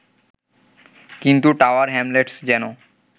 কিন্তু Tower Hamlets যেন